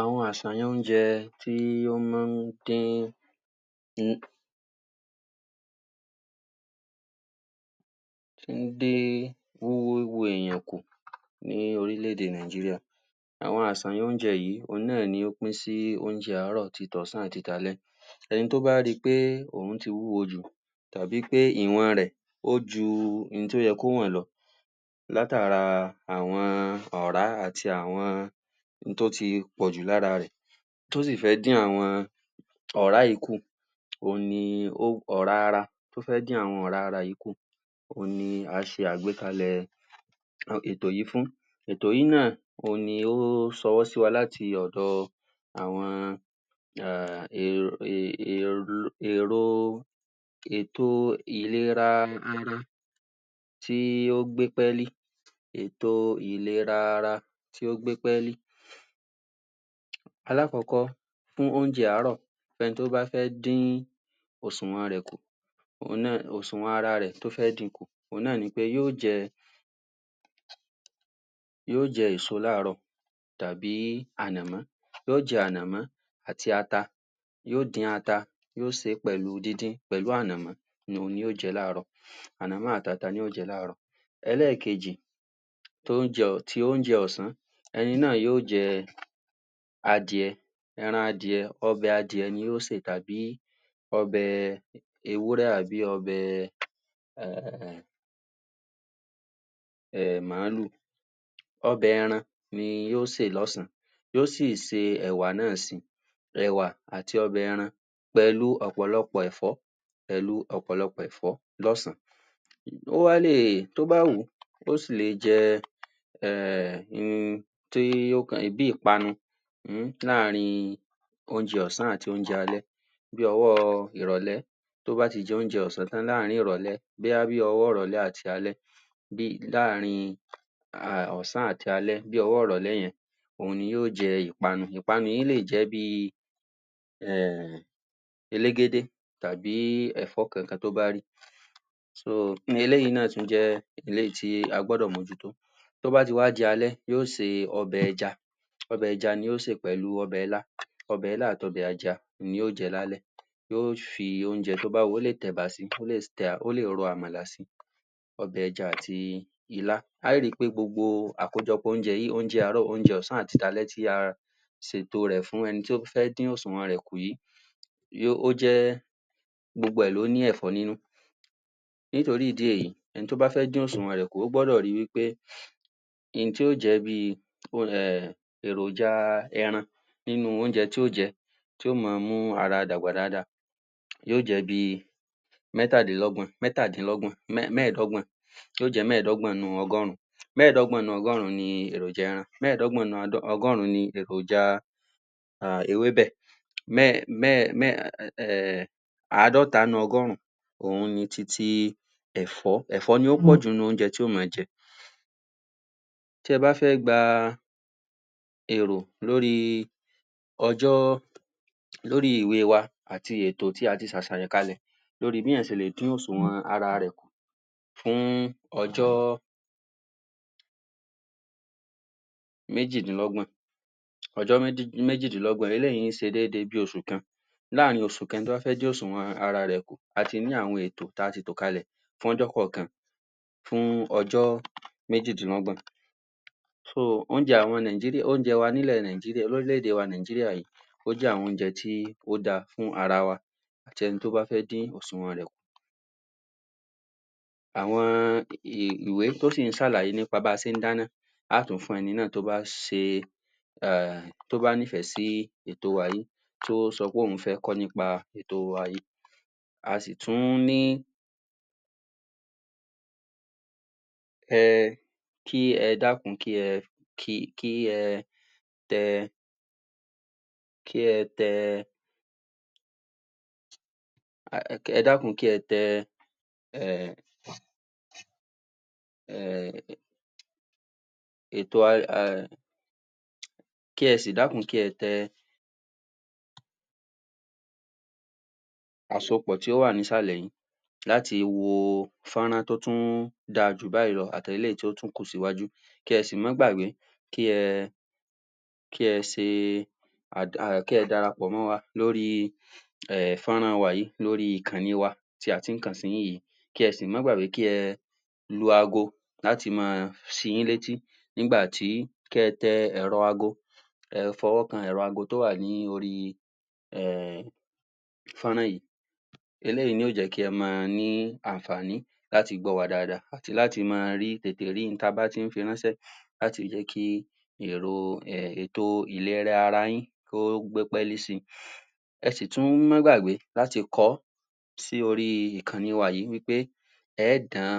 Àwọn àǹfààní oúnjẹ tí ó jẹ́ wí pé ó ń wo èèyàn ní orílẹ̀-èdè Nàìjíríà àwọn ìsọ̀rí oúnjẹ yìí, òun náà ló pín sí oúnjẹ àárọ̀, ti tọ̀sán àti t'alẹ́. Ẹni tó bá ri pé òun ti wúwo jù tàbí pé ìwọn rẹ̀, ó ju ohun tí ó yẹ kí ó wọ̀n lọ látara àwọn ọ̀rá àti àwọn ohun tó ti pọ̀jù lára rẹ̀ tó sì fẹ́ dín àwọn ọ̀rá yìí kù. Òun ni àwọn ọ̀rá ara tó fẹ́ dín àwọn ọ̀rá ara yìí kù òun ni à á ṣe àgbékalẹ̀ ètò yìí fún, Ètò yìí náà òun ni ó ṣọwọ́ sí wa láti ọ̀dọ àwọn um èrò ètò ìlera ara tí ó gbé pẹ́lí ètò ìlera ara tí ó gbé pẹ́lí. Alákọ̀ọ́kọ́, fún oúnjẹ àárọ̀ ẹni tó bá fẹ́ dín òṣùwọ̀n rẹ̀ kù òṣùwọ̀n ara rẹ̀ tó fẹ́ din kù, òun náà ni wí pé yó jẹ yó jẹ èso l'áàrọ́ tàbí ànàmọ́, yó jẹ ànàmọ́ àti ata yó dín ata yó sè é pẹ̀lú díndín, pẹ̀lú ànàmọ́ òun ni yó jẹ l'áàrọ́ ànàmọ́ àti ata ni yó jẹ l'áàrọ́. Ẹlẹ́kejì, ti oúnjẹ ọ̀sán ẹni náà yó jẹ adìẹ ẹran adìẹ, ọbẹ̀ adìẹ ni yó sè tàbí ọbẹ̀ ewúrẹ́ tàbí ọbẹ̀ um màálù ọbẹ̀ ẹran ni yó sè lọ́sàn-án, yó si se ẹ̀wà náà si, ẹ̀wà àti ọbẹ̀ ẹran. pẹ̀lú ọ̀pọ̀lọpọ̀ ẹ̀fọ́ pẹ̀lú ọ̀pọ̀lọpọ̀ ẹ̀fọ́ l'ọ́sàn. Ó wá lè, tó bá wùn-ún ó sí lè jẹ, um tí ó bí ìpanu um láàrín oúnjẹ ọ̀sàn àti oúnjẹ alẹ́ bí ọwọ́ ìrọ̀lẹ́ tó bá ti jẹ oúnjẹ ọ̀sàn tán láàrín ìrọ̀lẹ́, bóyá bí ọwọ́ ìrọ̀lẹ́ àti alẹ́ um láàrín um ọ̀sán àti alẹ́, bí ọwọ́ ìrọ̀lẹ́ yẹn òun ni yó jẹ ìpanu, ìpanu yìí lé jẹ̀, um elégédé tàbí ẹ̀fọ́ kankan tó bá rí eléyìí náà tún jẹ èyí tí a gbọ́dọ̀ mójútó. tó bá ti wá di alẹ́, yó se ọbẹ̀ ẹja ọbẹ̀ ẹja ni yó sè pẹ̀lú ọbẹ ilá ọbẹ̀ ilá àti ọbẹ̀ ẹja, ni yó jẹ l'álẹ́. Yó fi oúnjẹ tó bá wùn-ún, ó lé tẹ ẹ̀bà si, ó lé ro àmàlà si. Ọbẹ̀ ẹja àti ilá a ó ri pé gbogbo àkójọpọ̀ oúnjẹ yìí, oúnjẹ àárọ̀. oúnjẹ ọ̀sán, àti t'alẹ́, tí a ṣètò rẹ̀ fún ẹni tó bá fẹ́ dín òṣùwọ̀n rẹ̀ kù ó jẹ́, gbogbo ẹ̀ ló ní ẹ̀fọ́ nínú nítorí ìdí èyí, ẹni tó bá fẹ́ dín òṣùwọ̀n rẹ̀ kù, ó gbọ́dọ̀ ri wí pé ohun tí yó jẹ bí èròjà ẹran nínú oúnjẹ tí yó jẹ tí yó máa mú ara dàgbà dáadáa yó jẹ́ bí mẹ́tàdínlọ́gbọ̀n, mẹ́tàdínlọ́gbọ̀n, mẹ́ẹ̀dọ́gbọ̀n yó jẹ́ mẹ́ẹ̀dọ́gbọ̀n nínú ọgọ́run. mẹ́ẹ̀dọ́gbọ̀n nínú ọgọ́run ni èròjà ẹran, mẹ́ẹ̀dọ́gbọ̀n nínú ọgọ́run ni èròjà, ewébẹ̀ àádọ́ta nínú ọgọ́run òun ni titi ẹ̀fọ́, ẹ̀fọ́ ni yó pọ̀jù nínú oúnjẹ tí yó máa jẹ tí ẹ bá fẹ́ gba èrò lórí ọjọ́ lórí ìwé wa, àti ètò tí a ti ṣe àṣàyàn kalẹ̀ lórí bí èèyàn ṣe lè dín òṣùwọ̀n ara rẹ̀ kù fún ọjọ́ méjìdínlọ́gbọ̀n ọjọ́ méjìdínlọ́gbọ̀n, eléyìí ṣe dédé bí oṣù kan. láàrin oṣù kan, tí ó bá fẹ́ dín òṣùwọ̀n ara rẹ̀ kù, a ti ní àwọn ètò tí a ti tò kalẹ̀. fún ọjọ́ kàn-àn-kan fún ọjọ́ méjìdínlọ́gbọ̀n, oúnjẹ àwọn Nàìjíríà, oúnjẹ wa ní ilẹ̀ Nàìjíríà, l'órílẹ̀ èdè Nàìjíríà, ó jẹ́ àwọn oúnjẹ tí ó da fún ara wa àti ẹni tí ó bá fẹ́ dín òṣùwọ̀n ara rẹ̀ kù àwọn ìwé tó sì ń ṣàlàyé nípa bí a ṣe ń dáná, a ó tún fún eni náà, tí ó bá ṣe um tó bá nífẹ̀ẹ́ sí ètò wa yìí, tí ó sọ wí pé òun fẹ́ kọ́ nípa ètò wa yìí a sì tún ní um kí ẹ dákun, kí ẹ tẹ kí ẹ tẹ ẹ dákun kí ẹ tẹ um um ètò kí ẹ si dákun, kí ẹ tẹ àsopọ̀ tí ó ìsàlẹ̀ yìí láti wo fọ́nrán tó tún dáa jù báyìí lọ àti eléyìí tó kù síwájú, kí ẹ sì máa gbàgbé, kí ẹ kí ẹ ṣe kí ẹ darapọ̀ mọ́ wa lóri um fọ́nrán wa yìí, lórí ìkọ̀nì wa tí ẹ ti ń kàn sí wa yìí kí ẹ sì máa gbàgbé, kí ẹ lu ago láti máa ṣi yín létí nígbà tí ẹ tẹ èrọ ago ẹ fọwọ́kan ẹ̀rọ ago tó wà ní órí um fọ́nrán yìí eléyìí ni yó jẹ́ kí a máa ní àǹfààní láti gbọ́ wa dáadáa àti láti máa tètè rí ohun ta bá fi ń ránṣẹ́ láti jẹ́ kí èrò,[um] ètò ìlera ara yín kó gbé pẹ́lí si ẹ sì tún máa gbàgbé láti kọ ọ́ sí orí ìkọ̀nì wa yìí wí pé ẹ ó dán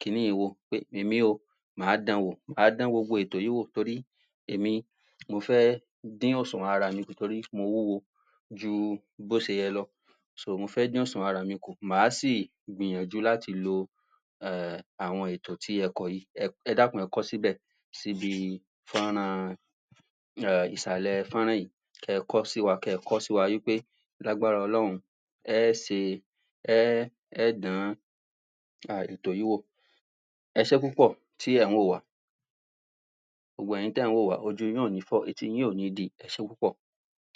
kiní yìí wò pé èmi o máa dan wò, máa dan gbogbo ètò yíì wò torí èmi mo fẹ́ dín òṣùwọ̀n ara mi kù, torí mo wúwo ju bó ṣe yẹ lọ mo fẹ́ dín òṣùwọ̀n ara mi kù, máa si gbìyàjú láti lo um àwọn ètò tí ẹ kọ yìí, ẹ dákun, ẹ kọ́ síbẹ̀ síbí fọ́nrán um ìsàlè fọ́nrán yìí kí ẹ kọ́ sí wa, kí ẹ kọ́ sí wa wí pé lágbára ọlọ́run ẹ ṣe um ẹ́ dán um ètò yìí wò ẹṣẹ́ púpọ̀ tí ẹ̀ ń wò wà á gbogbo ẹ̀yin tí ẹ̀ ń wò wá, ojú yín ò ní fọ́, etí yín kò ní di, ẹṣé púpọ̀